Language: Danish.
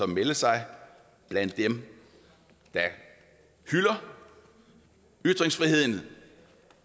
melde sig blandt dem der hylder ytringsfriheden